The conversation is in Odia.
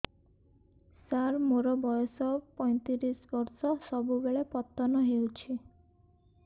ସାର ମୋର ବୟସ ପୈତିରିଶ ବର୍ଷ ସବୁବେଳେ ପତନ ହେଉଛି